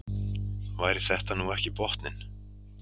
Væri þetta nú ekki botninn?